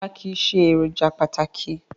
Rárá kìí ṣe èròjà pàtàkì